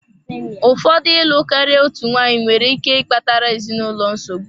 Ụfọdụ ịlụ karịa otu nwanyị nwere ike ịkpatara ezinụlọ nsogbu.